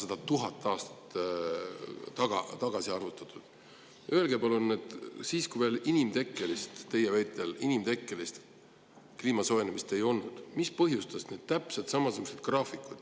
Öelge palun, mis põhjustas need ja tipud siis, kui veel inimtekkelist – teie väitel inimtekkelist – kliima soojenemist ei olnud toimunud?